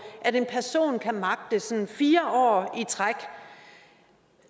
at en person kan magte sådan fire år i træk